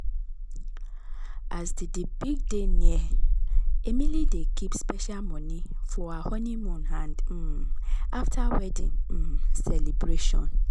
as di di big day near emily dey keep special money for her honeymoon and um after wedding um celebration.